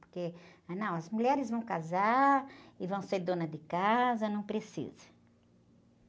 Porque, ah, não, as mulheres vão casar e vão ser dona de casa, não precisa.